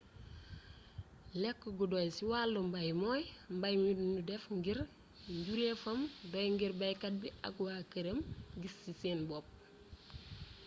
lekk gu doy ci wàllu mbay mooy mbay mi nu def ngir njureefam doy ngir baykat bi ak waa këram gis ci seen bopp